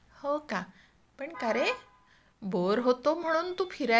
हो का? पण का रे, बोअर होतो म्हणून तू फिरायला जातो?